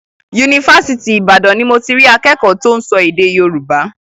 Yunifásitì Ìbàdàn ni mo ti rí akẹ́kọ̀ọ́ tó ń sọ èdè Yorùbá.